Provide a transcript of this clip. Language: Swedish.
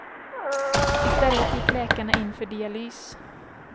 I stället gick läkarna in för dialys.